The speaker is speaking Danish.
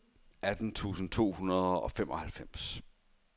atten tusind to hundrede og femoghalvfems